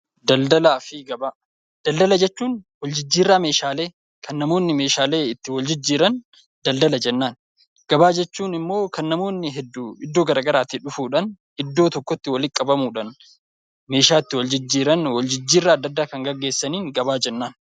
Daldalaa fi Gabaa Daldala jechuun waljijjiirraa meeshaalee kan namoonni meeshaalee itti waljijjiiran daldala jennaan. Gabaa jechuun immoo kan namoonni hedduu iddoo garaagaraatii dhufuudhaan iddoo tokkotti walitti qabamuudhaan meeshaa itti waljijjiiran waljijjiirraa adda addaa kan geggeessaniin gabaa jennaan.